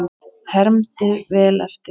Hermdi vel eftir.